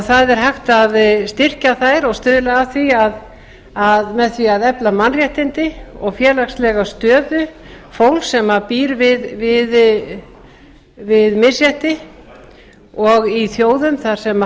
það er hægt að styrkja þær og stuðla að því með því að efla mannréttindi og félagslega stöðu fólks sem býr við misrétti og í þjóðum þar sem